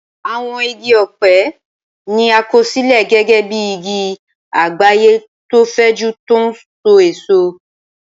Àwọn igi ọ̀pẹ ní àkọsílẹ̀ gẹ́gẹ́ bí igi àgbáyé tó fẹ̀jú tó n so èso